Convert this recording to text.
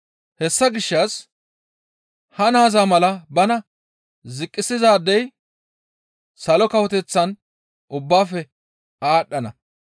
Hessa gishshas ha naaza mala bana ziqqisizaadey Salo Kawoteththan ubbaafe aadhdhana.